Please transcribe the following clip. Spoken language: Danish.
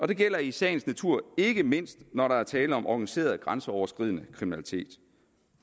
det gælder i sagens natur ikke mindst når der er tale om organiseret grænseoverskridende kriminalitet